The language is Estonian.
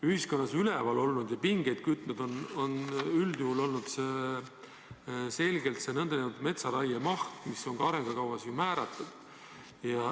Ühiskonnas on üleval olnud ja pingeid kütnud üldjuhul selgelt see nn metsaraiemaht, mis on ka arengukavas määratud.